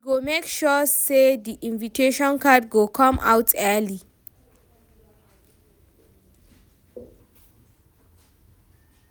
We go make sure sey di invitation card go come out early.